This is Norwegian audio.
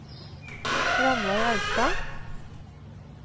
Ranveig Austad